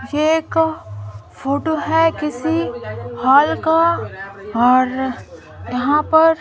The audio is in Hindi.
ये एक फोटो है किसी हॉल का और यहाँ पर --